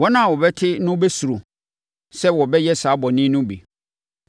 Wɔn a wɔbɛte no bɛsuro sɛ wɔbɛyɛ saa bɔne no bi.